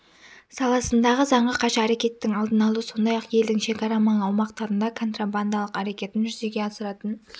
саласындағы заңға қайшы әрекеттің алдын алу сондай-ақ елдің шекара маңы аумақтарында контрабандалық әрекетін жүзеге асыратын